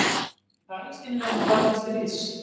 Segir Palestínumenn á barmi stríðs